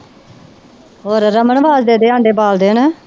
ਹੋਰ ਰਮਣ ਆਂਡੇ ਬਾਲਦੇ ਹਨਾ।